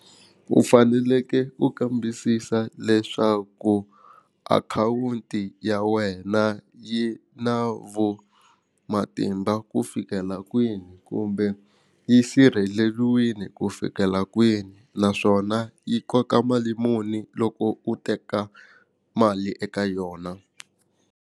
U fanekele u kambisisa leswaku akhawunti ya wena yi na vu matimba ku fikela kwini kumbe yi sirheleriwile ku fikela kwini naswona yi koka mali muni loko u teka mali eka yona.